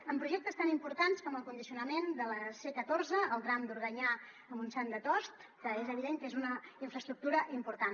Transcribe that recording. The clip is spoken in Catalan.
en projectes tan importants com el condicionament de la c catorze el tram d’organyà a montan de tost que és evident que és una infraestructura important